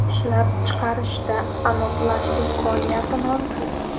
Ishlab chiqarishda anodlash imkoniyati mavjud.